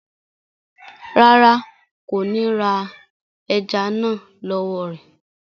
Rárá, kò ni rá èẹjẹ́ náà lọ wọ̀ rẹ.